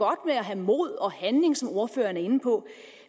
at have mod og handling som ordføreren er inde på